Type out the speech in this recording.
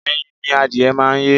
Ẹyin ni adìyẹ máa ń yé.